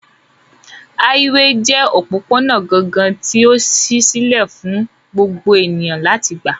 Háíwèè jẹ́ òpópónà gangan tí ó ṣí sílẹ̀ fún gbogbo ènìyàn láti gbà